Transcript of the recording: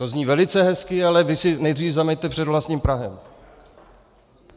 To zní velice hezky, ale vy si nejdříve zameťte před vlastním prahem.